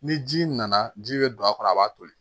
Ni ji nana ji bɛ don a kɔnɔ a b'a toli